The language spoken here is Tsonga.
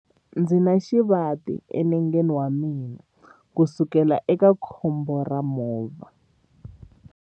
Ndzi na xivati enengeni wa mina kusukela eka khombo ra movha.